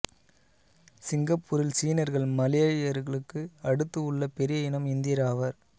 சிங்கப்பூரில் சீனர்கள் மலேயர்களுக்கு அடுத்து உள்ள பெரிய இனம் இந்தியர் ஆவர்